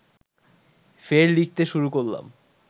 ফের লিখতে শুরু করলাম